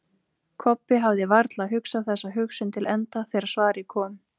Kobbi hafði varla hugsað þessa hugsun til enda þegar svarið kom.